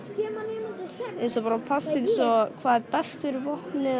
eiginlega eins og bara passa hvað er best fyrir vopnið